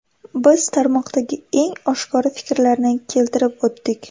Biz tarmoqdagi eng oshkora fikrlarni keltirib o‘tdik.